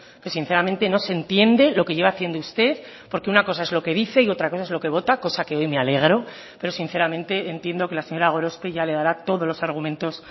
que sinceramente no se entiende lo que lleva haciendo usted porque una cosa es lo que dice y otra cosa es lo que vota cosa que hoy me alegro pero sinceramente entiendo que la señora gorospe ya le dará todos los argumentos